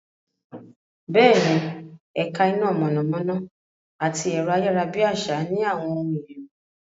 Bẹ́ẹ̀ni, ẹ̀ka iná mọ̀nàmọ́ná àti ẹ̀rọ-ayárabíàsá ní àwọn ohun èlò.